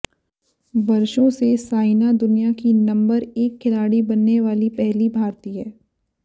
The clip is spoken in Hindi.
वर्षों से साइना दुनिया की नंबर एक खिलाड़ी बनने वाली पहली भारतीय